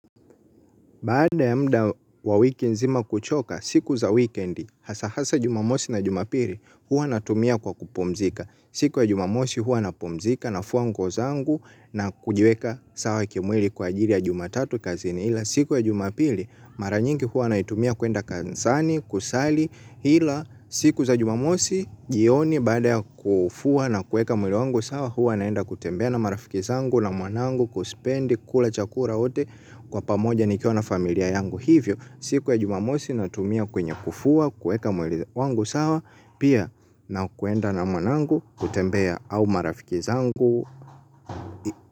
Baada ya muda wa wiki nzima kuchoka, siku za wikendi, hasa hasa jumamosi na jumapili, huwa natumia kwa kupumzika. Siku ya jumamosi huwa napumzika nafua nguo zangu na kujiweka sawa kimwili kwa ajiri ya jumatatu kazini. Ila siku ya jumapili mara nyingi huwa naitumia kuenda kanisani kusali ila siku za jumamosi jioni baada ya kufua na kueka mwili wangu sawa huwa naenda kutembea na marafiki zangu na mwanangu kuspendi kula chakura hote. Kwa pamoja nikiona familia yangu hivyo siku ya jumamosi natumia kwenye kufua kueka mwili wangu sawa. Pia na kuenda na mwanangu kutembea au marafiki zangu.